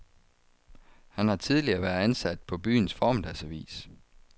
Han har tidligere været ansat på byens formiddagsavis.